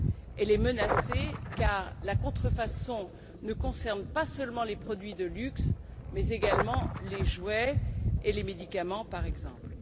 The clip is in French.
Elles sont menacées car la contrefaçon ne concerne pas seulement les produits de luxe mais également les jouets et les médicaments, par exemple.